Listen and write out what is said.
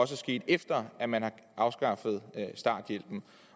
sket efter at man har afskaffet starthjælpen